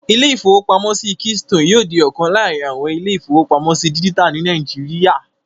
Ilé-ìfowópamọ́sí Keystone yóò di ọ̀kan láàrin àwọn ilé-ìfowópamọ́sí dígítà ní Nàìjíríyà